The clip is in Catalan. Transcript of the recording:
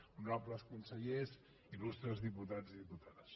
honorables consellers il·lustres diputats i diputades